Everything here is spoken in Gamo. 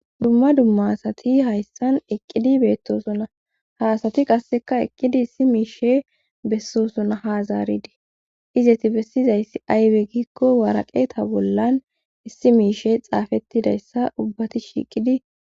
Dumma dumma asati hayssan eqqidi beettosona ha asati qasseka eqqidi issi miishe bessosona ha zaaridii izeti bessizayssi aywe giikko waraqeta bollan issi miishe xaafettidayssa ubbati shiiqidi..